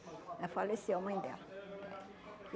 Ela faleceu, a mãe dela. É